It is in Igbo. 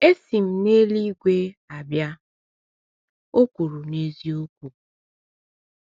“Esi m n’eluigwe abịa,” o kwuru n’eziokwu.